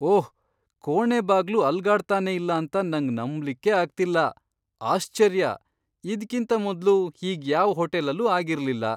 ಓಹ್, ಕೋಣೆ ಬಾಗ್ಲು ಅಲ್ಗಡ್ತಾನೆ ಇಲ್ಲ ಅಂತ ನಂಗ್ ನಂಬ್ಲಿಕ್ಕೇ ಅಗ್ತಿಲ್ಲ. ಆಶ್ಚರ್ಯ, ಇದ್ಕಿಂತ ಮೊದ್ಲು ಹೀಗ್ ಯಾವ್ ಹೋಟೆಲ್ ಅಲ್ಲೂ ಆಗಿರ್ಲಿಲ್ಲ.